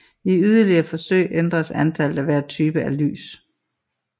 I yderligere forsøg ændredes antallet af hver type af lys